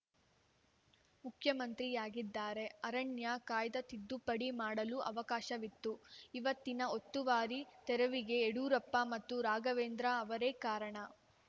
ಮುಖ್ಯಮಂತ್ರಿಯಾಗಿದ್ದಾರೆ ಅರಣ್ಯ ಕಾಯ್ದೆ ತಿದ್ದುಪಡಿ ಮಾಡಲು ಅವಕಾಶವಿತ್ತು ಇವತ್ತಿನ ಒತ್ತುವರಿ ತೆರವಿಗೆ ಯಡಿಯೂರಪ್ಪ ಮತ್ತು ರಾಘವೇಂದ್ರ ಅವರೇ ಕಾರಣ